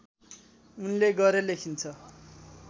उनले गरे लेखिन्छ